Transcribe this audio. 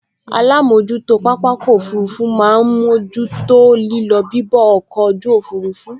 Alámojútó pápákọ̀ òfurufú máa n mójú tó lílọ bibọ̀ ọkọ̀ ojú òfurufú